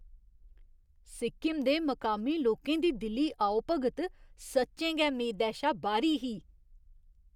सिक्किम दे मकामी लोकें दी दिली आओभगत सच्चें गै मेदै शा बाह्‌री ही।